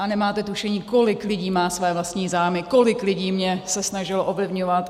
A nemáte tušení, kolik lidí má své vlastní zájmy, kolik lidí se mě snažilo ovlivňovat.